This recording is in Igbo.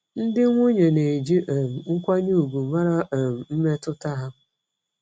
Ndị nwunye na-eji um nkwanye ùgwù mara um mmetụta ha.